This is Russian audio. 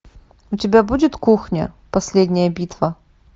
у тебя будет кухня последняя битва